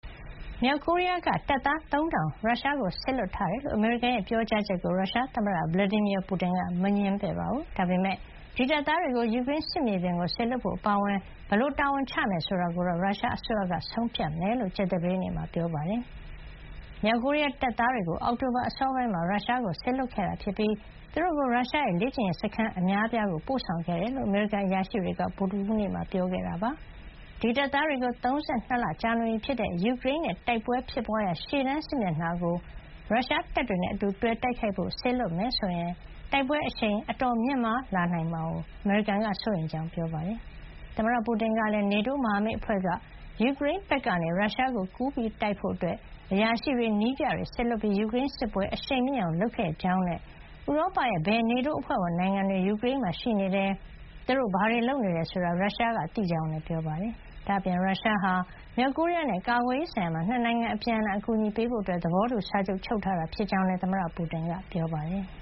မြောက်ကိုရီးယားက တပ်သား ၃,၀၀၀ ရုရှားကို စေလွှတ်ထားတယ်လို့ အမေရိကန်ရဲ့ ပြောကြားချက်ကို ရုရှားသမ္မတVladimir Putin က မငြင်းပါဘူး။ ဒါပေမယ့် ဒီတပ်သားတွေကို ယူကရိန်းစစ်မြေပြင်ကို စေလွှတ်ဖို့အပါအဝင် ဘယ်လိုတာဝန်ချမယ်ဆိုတာကိုတော့ ရုရှားအစိုးရကဆုံးဖြတ်မှာဖြစ်ကြောင်း ကြာသပတေးနေ့မှာ ပြောပါတယ်။ မြောက်ကိုရီးယားတပ်သားတွေကို အောက်တိုဘာအစောပိုင်းမှာ ရုရှားကိုစေလွှတ်ခဲ့ပြီး သူတို့ကို ရုရှားရဲ့ လေ့ကျင့်ရေးစခန်းအများအပြားကို ပို့ဆောင်ခဲ့တယ်လို့ အမေရိကန်အရာရှိတွေက ဗုဒ္ဓဟူးနေ့မှာ ပြောခဲ့ တာပါ။ ဒီတပ်သားတွေကို၃၂ လကြာနေပြီဖြစ်တဲ့ ယူကရိန်းနဲ့တိုက်ပွဲတွေဖြစ်ပွါးရာ ရှေ့တန်းစစ်မျက်နှာ ကို ရုရှားတပ်တွေနဲ့အတူတွဲပြီး တိုက်ခိုက်ဖို့စေလွှတ်မယ်ဆိုရင် တိုက်ပွဲအရှိန်အတော်မြင့်မား လာနိုင်တာကို အမေရိကန်က စိုးရိမ်ကြောင်းပြောပါတယ်။ သမ္မတပူတင်ကလည်း NATO မဟာမိတ်အဖွဲ့က ယူကရိန်းဘက်ကနေ ရုရှားကိုကူပြီးတိုက်ဖို့ အရာရှိတွေ၊ နည်းပြတွေစေလွှတ်ပြီး ယူကရိန်းစစ်ပွဲ အရှိန်မြင့်အောင်လုပ်ခဲ့ကြောင်းနဲ့ ဥရောပရဲ့ ဘယ် NATO အဖွဲ့ဝင်နိုင်ငံတွေ ယူကရိန်းမှာရှိနေတယ်၊ သူတို့ဘာတွေလုပ်နေတယ်ဆိုတာကို ရုရှားက သိကြောင်းလည်း ပြောပါတယ်။ ဒါ့အပြင် ရုရှားဟာ မြောက်ကိုရီးယားနဲ့ ကာကွယ်ရေးဆိုင်ရာမှာ ၂ နိုင်ငံ အပြန်အလှန်အကူအညီပေးဖို့ သဘောတူစာချုပ် ချုပ်ဆိုထားကြောင်းလည်းသမ္မတ Putin က ပြောပါတယ်။